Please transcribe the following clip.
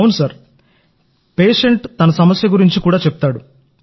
అవును పేషెంట్ తన సమస్యల గురించి కూడా చెప్తాడు